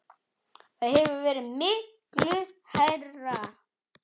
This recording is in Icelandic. Það hefur verið miklu hærra.